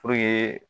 Puruke